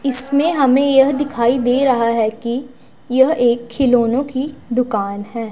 इसमें हमें यह दिखाई दे रहा है कि यह एक खिलौनो की दुकान है।